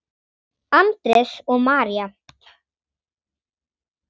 Andrés og María.